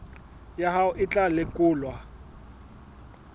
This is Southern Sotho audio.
ya hao e tla lekolwa